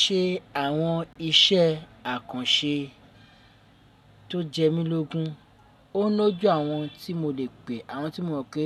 Ṣe àwọn iṣẹ́ àkànṣe tó jẹ́ mílógún, ó ń loju àwọn tí mo lè pè, àwọn tí mo mọ̀ pé